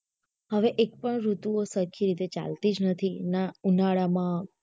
હવે એક પણ ઋતુ સરખી રીતે ચાલતી જ નથી ઉના ઉનાળા માં